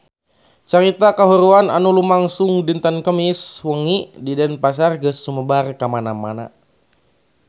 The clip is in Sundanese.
Carita kahuruan anu lumangsung dinten Kemis wengi di Denpasar geus sumebar kamana-mana